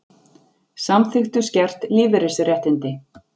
Samþykktu skert lífeyrisréttindi